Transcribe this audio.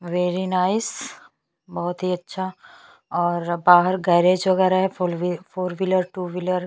very nice बहुत ही अच्छा और बाहर गैराज वगैरह है फोर व्हीलर टू व्हीलर --